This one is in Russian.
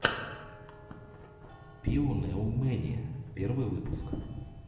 пиэнэумэниа первый выпуск